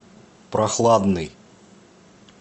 прохладный